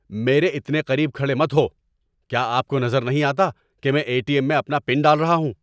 میرے اتنے قریب کھڑے مت ہوں! کیا آپ کو نظر نہیں آتا کہ میں اے ٹی ایم میں اپنا پن ڈال رہا ہوں؟